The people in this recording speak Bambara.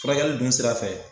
Furakɛli dun sira fɛ.